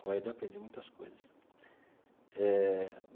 Com ele, aprendi muitas coisas eh.